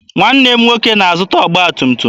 Nwanne m nwoke na-azụta ọgba tum tum.